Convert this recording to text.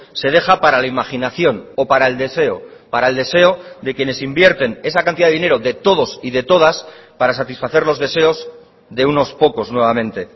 se deja para la imaginación o para el deseo para el deseo de quienes invierten esa cantidad de dinero de todos y de todas para satisfacer los deseos de unos pocos nuevamente